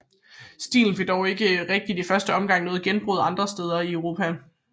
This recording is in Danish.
Stilen fik dog ikke rigtig i første omgang noget gennembrud andre steder i Europa